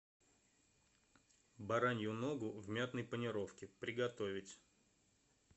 баранью ногу в мятной панировке приготовить